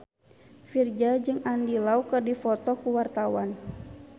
Virzha jeung Andy Lau keur dipoto ku wartawan